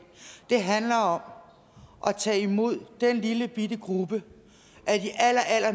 handler om at tage imod den lillebitte gruppe